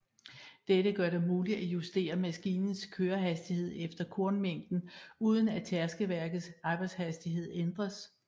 Dette gør det muligt at justere maskinens kørehastighed efter kornmængden uden at tærskeværkets arbejdshastighed ændres